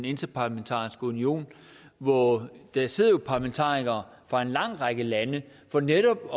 interparlamentariske union hvor der sidder parlamentarikere fra en lang række lande for netop